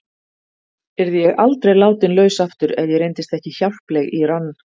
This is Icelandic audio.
Yrði ég aldrei látin laus aftur ef ég reyndist ekki hjálpleg í rann